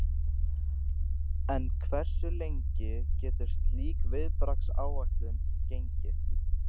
En hversu lengi getur slík viðbragðsáætlun gengið?